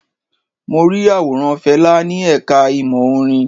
Mo rí àwòrán Fẹlá ni ẹ̀ka ìmọ̀ orin.